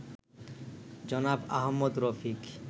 জনাব আহমদ রফিক